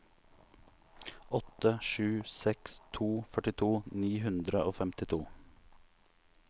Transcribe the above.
åtte sju seks to førtito ni hundre og femtito